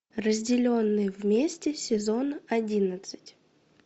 разделенные вместе сезон одиннадцать